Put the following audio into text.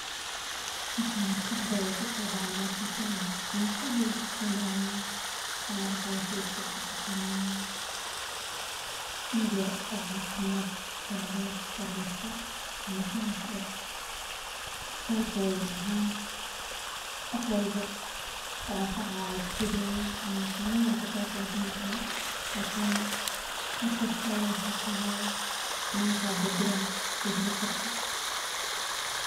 Maxaa maskaxdadha kuso dacaya marka tan aragto waxaa maskaxdeyda kusodacaya san arkaya sawirka wuxuu itusinaya meel yar oo cafimaad oo farmasha farmashahas oo istalka weyn ahen wax walbo ku anfacaya aad ka heleynin ama xanun walba ka kafini karin lakini markas ayada waxa kuhayo xanunka ka dabirayo aya ka heli kartaa.